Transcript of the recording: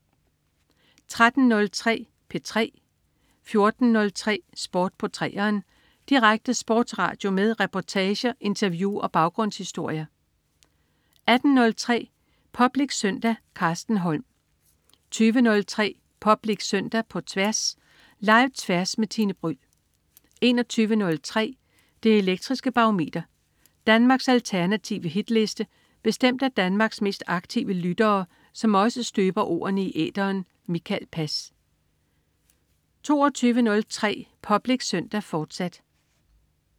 13.03 P3 14.03 Sport på 3'eren. Direkte sportsradio med reportager, interview og baggrundshistorier 18.03 Public Søndag. Carsten Holm 20.03 Public Søndag på Tværs. Live-Tværs med Tine Bryld 21.03 Det elektriske Barometer. Danmarks alternative hitliste bestemt af Danmarks mest aktive lyttere, som også støber ordene i æteren. Mikael Pass 22.03 Public Søndag, fortsat